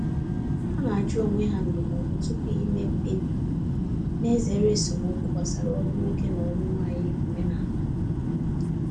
Ha na-ajụ onwe ha ndụmọdụ tupu ime mkpebi, na-ezere esemokwu gbasara ọrụ nwoke na nwanyị omenala.